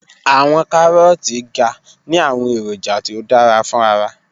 Awọn Karooti ga ni awọn eroja ti o dara fun ara